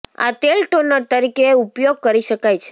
આ તેલ ટોનર તરીકે ઉપયોગ કરી શકાય છે